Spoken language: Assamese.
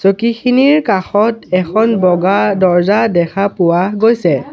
চকীখিনিৰ কাষত এখন বগা দৰ্জ্জা দেখা পোৱা গৈছে।